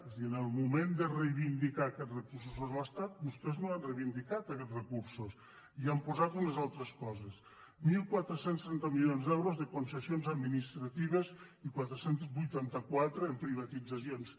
és a dir en el moment de reivindicar aquests recursos a l’estat vostès no han reivindicat aquests recursos i hi han posat unes altres coses catorze trenta milions d’euros de concessions ad·ministratives i quatre cents i vuitanta quatre en privatitzacions